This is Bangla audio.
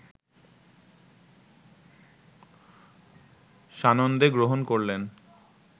সানন্দে গ্রহণ করলেন